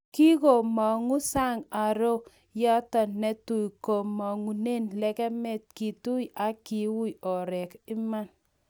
Kingomo'ngu sang aroo yeto netui komong'une legemet ,kituii ak kiuu orek ",kimwa .